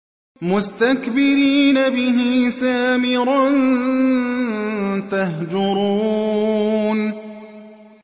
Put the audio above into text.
مُسْتَكْبِرِينَ بِهِ سَامِرًا تَهْجُرُونَ